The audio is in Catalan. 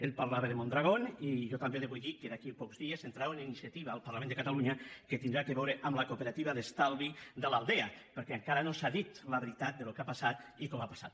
ell parlava de mondragón i jo també li vull dir que d’aquí a pocs dies entrarà una iniciativa al parlament de catalunya que tindrà a veure amb la cooperativa d’estalvi de l’aldea perquè encara no s’ha dit la veritat del que ha passat i com ha passat